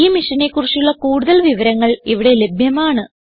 ഈ മിഷനെ കുറിച്ചുള്ള കുടുതൽ വിവരങ്ങൾ ഇവിടെ ലഭ്യമാണ്